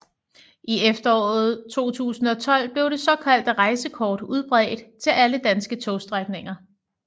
I efteråret 2012 blev det såkaldte rejsekort udbredt til alle danske togstrækninger